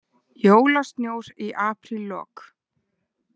Jólasnjór í apríllok